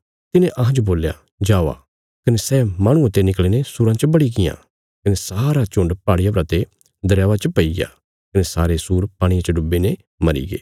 तिने तिन्हांजो बोल्या जावा कने सै माहणुये ते निकल़ीने सूराँ च बड़ीगियां कने सारा झुण्ड पहाड़िया परा ते दरयावा च पैईग्या कने सारे सूर पाणिये च डुब्बीने मरीगे